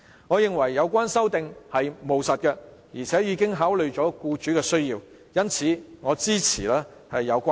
我認為有關修訂務實，而且已考慮僱主的需要，因此支持有關修正案。